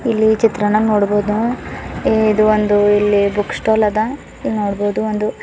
ಇಲ್ಲಿ ಈ ಚಿತ್ರಾನಾಗ್ ನೋಡ್ಬೋದ್ ನಾವ ಏ ಇದು ಒಂದು ಇಲ್ಲಿ ಬುಕ್ ಸ್ಟಾಲ್ ಅದ ಇಲ್ಲಿ ನೋಡಬಹುದು ಒಂದು --